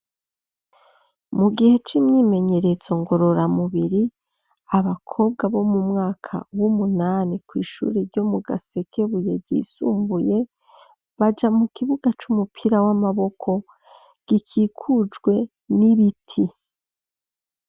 Mu gihe, c'imyimenyerezo, ngororamubiri, abakobwa, bo mu mwaka w'umunani, kw'ishuri ryo mu Gasekebuye, ryisumbuye, baja mu kibuga, c'umupira w'amaboko, gikikujwe n'ibiti.